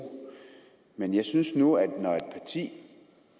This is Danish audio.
men jeg synes nu at vi